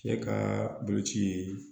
Cɛ ka boloci